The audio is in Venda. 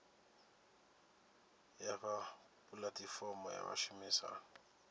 ya fha pulatifomo ya vhashumisani